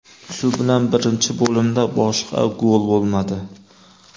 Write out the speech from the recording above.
Shu bilan birinchi bo‘limda boshqa gol bo‘lmadi.